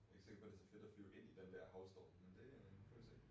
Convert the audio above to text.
Jeg ikke sikker på det så fedt at flyve ind i den der haglstorm men det nu får vi se